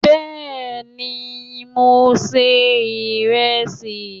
Bẹ́ẹ̀ni, mò ń se ìrẹsì